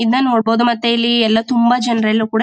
ಇನ್ನ ನೋಡಬಹುದು ಮತ್ತೆ ಇಲ್ಲಿ ಎಲ್ಲಾ ತುಂಬಾ ಜನರಲ್ಲೂ ಕೂಡ--